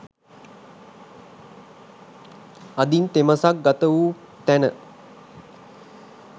අදින් තෙමසක් ගත වූ තැන